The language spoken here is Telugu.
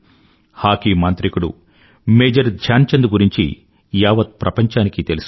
హాకీ మాంత్రికుడు మేజర్ ధ్యానచంద్ గురించి యావత్ ప్రపంచానికీ తెలుసు